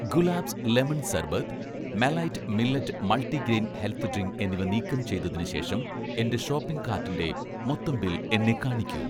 Gulaabs lemon സർബത്ത്, 'മെലൈറ്റ്' millet multigrain health drink എന്നിവ നീക്കം ചെയ്‌തതിന് ശേഷം എന്‍റെ ഷോപ്പിംഗ് കാർട്ടിന്‍റെ മൊത്തം ബിൽ എന്നെ കാണിക്കൂ